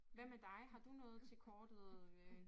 Hvad med dig har du noget til kortet øh